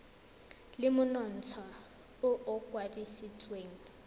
le monontsha o o kwadisitsweng